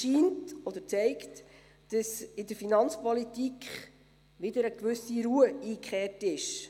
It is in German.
Dies zeigt, dass in der Finanzpolitik wieder eine gewisse Ruhe eingekehrt ist.